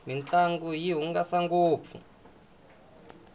mintlangu yi hungasa ngopfu